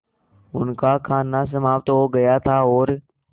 उनका खाना समाप्त हो गया था और